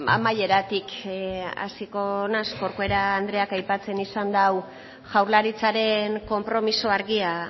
amaieratik hasiko naiz corcuera andreak aipatzen izan dau jaurlaritzaren konpromiso argia